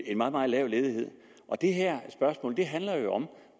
en meget meget lav ledighed det her spørgsmål handler jo om